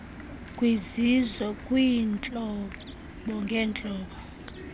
kwizizwe kwiintlobo ngentlobo